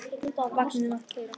Vagninn að keyra.